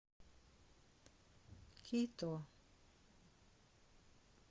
кито